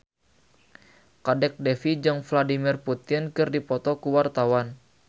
Kadek Devi jeung Vladimir Putin keur dipoto ku wartawan